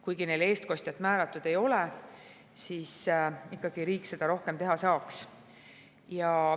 Kuigi neile eestkostjat määratud ei ole, saab ikkagi riik seda rohkem teha.